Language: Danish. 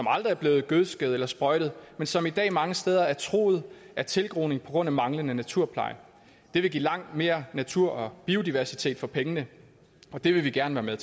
aldrig er blevet gødsket eller sprøjtet men som i dag mange steder er truet af tilgroning på grund af manglende naturpleje det vil give langt mere natur og biodiversitet for pengene og det vil vi gerne være